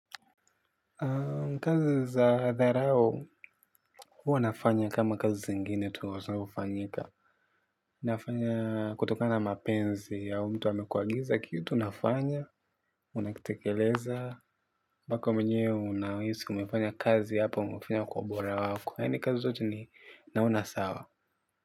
Kazi za dharau huwa nafanya kama kazi zingine tu kwa sababu hufanyika. Nafanya kutokana na mapenzi au mtu amekuagiza kitu nafanya. Unakitekeleza mpaka mwenye unahisi umefanya kazi hapa umefanya kwa obora wako yaani kazi zote ni naona sawa.